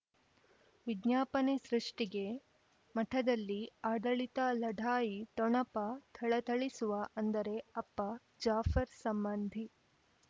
ವಿಜ್ಞಾಪನೆ ಸೃಷ್ಟಿಗೆ ಮಠದಲ್ಲಿ ಆಡಳಿತ ಲಢಾಯಿ ಠೊಣಪ ಥಳಥಳಿಸುವ ಅಂದರೆ ಅಪ್ಪ ಜಾಫರ್ ಸಂಬಂಧಿ